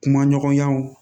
Kuma ɲɔgɔnyaw